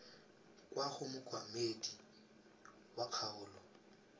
kwa go mookamedi wa kgaolo